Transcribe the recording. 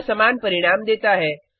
यह समान परिणाम देता है